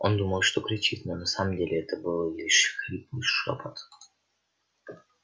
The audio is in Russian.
он думал что кричит но на самом деле это был лишь хриплый шёпот